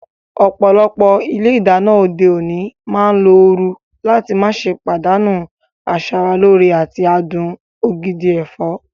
Ọ̀pọ̀lọpọ̀ ilé ìdáná òde òní máa ń lo ooru láti má ṣe pàdánù asara lóore àti adùn ògidì ẹ̀fọ́.